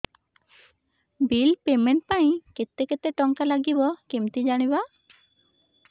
bill payment ପାଇଁ କେତେ କେତେ ଟଙ୍କା ଲାଗିବ କେମିତି ଜାଣିବି